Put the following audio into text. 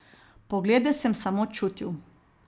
Poglede sem samo čutil.